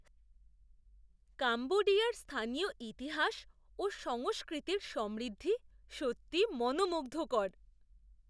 কাম্বোডিয়ার স্থানীয় ইতিহাস ও সংস্কৃতির সমৃদ্ধি সত্যিই মনোমুগ্ধকর!